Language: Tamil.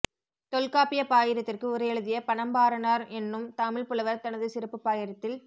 தொல்காப்பியப் பாயிரத்திற்கு உரை எழுதிய பனம்பாரனார் என்னும் தமிழ்ப் புலவர் தனது சிறப்புப் பாயிரத்தில்